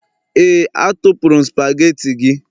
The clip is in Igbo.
Éè, atụpụrụ m spagetii gị